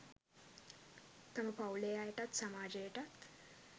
තම පවුලේ අයටත් සමාජයටත්